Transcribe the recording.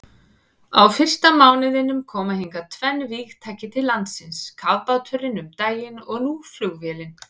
Á fyrsta mánuðinum koma hingað tvenn vígtæki til landsins, kafbáturinn um daginn og nú flugvélin.